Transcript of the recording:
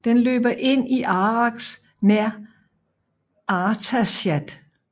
Den løber ind i Arax nær Artashat